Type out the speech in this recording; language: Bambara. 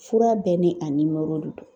Fura bɛɛ ni a nimoro de don